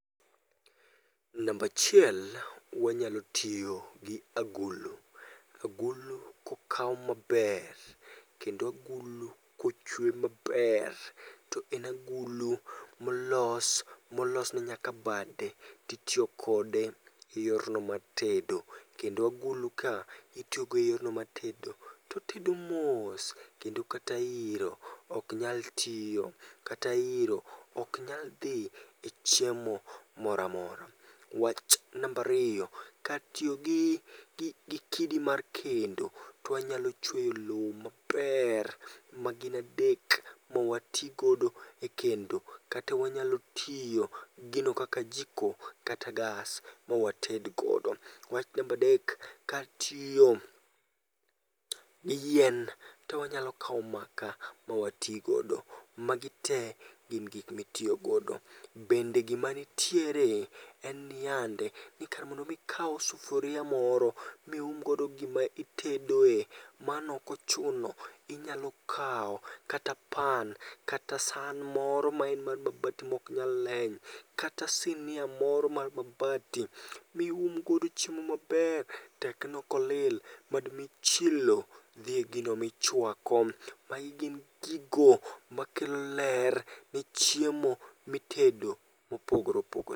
Nambachiel wanyalo tiyo gi agulu, agulu kokaw maber kendagulu kochwe maber to en agulu molos, molos ne nyaka bade titiyo kode e yorno mar tedo. Kendo agulu ka itiyogo e yorno mar tedo, totedo mos. Kendo kata iro ok nyal tiyo, kata iro ok nyal dhi e chiemo moramora. Wach nambariyo, kar tiyo gi kidi mar kendo, twanyalo chweyo lo maber ma gin adek mawati godo e kendo. Kata wanyalo tiyo gino kaka jiko kata gas mawatedgodo. Wach nambadek, kar tiyo gi yien towanyalo kawo maka mawatigodo. Magi te gin gik mitiyogodo. Bende gima nitiere en niyande, ni kar mondo mi ikaw sufuria moro mium godo gima itedoe, monokochuno. Inyalo kawa kata pan, kata san moro maen mar mabati mok nyal leny. Kata sinia moro mar mabati, miumgodo chiemo maber tekno ok olil madmi chilo dhi e gino michwako. Magi gin gigo makelo ler ne chiemo mitedo mopogore opogore.